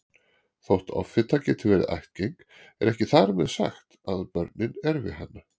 Þótt offita geti verið ættgeng er ekki þar með sagt að börnin erfi hana.